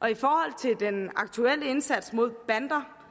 og i forhold til den aktuelle indsats mod bander